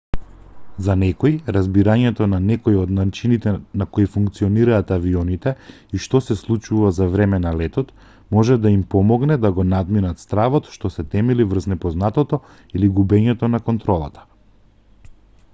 за некои разбирањето на некој од начините на кои функционираат авионите и што се случува за време на летот може да им помогне да го надминат стравот што се темели врз непознатото или губењето на контролата